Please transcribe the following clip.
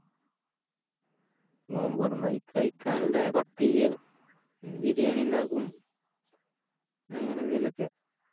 നോമ്പൊറന്ന കഴിക്കാനിള്ളേ പത്തിരിയോ ബിരിയാണിണ്ടാക്കും അങ്ങനെ എന്തെലൊക്കെ